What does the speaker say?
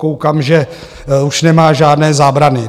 Koukám, že už nemá žádné zábrany.